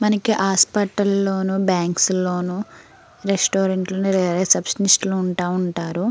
మనకి హాస్పిటల్ లోనూ బాంక్స్ లోనూ రెస్టారెంట్ లోనూ రిసెప్షనిస్ట్ లు ఉంటా ఉంటారు.